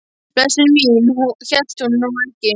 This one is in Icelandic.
Blessunin mín, hún hélt nú ekki!